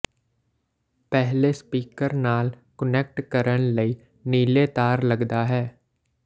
ਪਹਿਲੇ ਸਪੀਕਰ ਨਾਲ ਕੁਨੈਕਟ ਕਰਨ ਲਈ ਨੀਲੇ ਤਾਰ ਲੱਗਦਾ ਹੈ